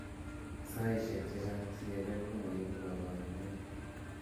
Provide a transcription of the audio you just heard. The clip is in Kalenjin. Saaisiek chechang' CLL komaibu kaborunoik